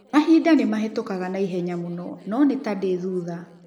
Mahinda nĩ mahĩtũkaga na ihenya mũno, no nĩ ta ndĩ thutha.